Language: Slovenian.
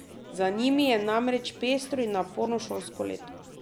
Za njimi je namreč pestro in naporno šolsko leto.